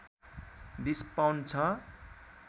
२० pound छ